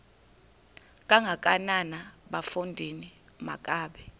kangakanana bafondini makabe